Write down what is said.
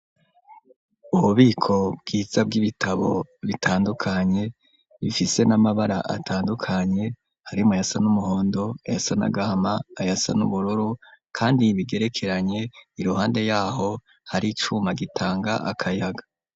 Ububiko bwiza bw'ibitabo bitandukanye. Bifise n'amabara atandukanye harimwo ayasa n'umuhondo, ayasa n'agama, ayasa n'ubururu kandi bigerekeranye. Iruhande yaho hari icuma gitanga akayaga.